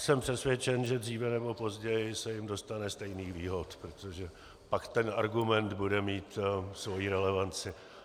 Jsem přesvědčen, že dříve nebo později se jim dostane stejných výhod, protože pak ten argument bude mít svoji relevanci.